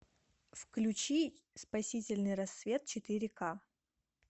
включи спасительный рассвет четыре ка